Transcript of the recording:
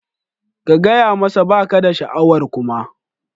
Ka gaya masa ba ka da sha'awar kuma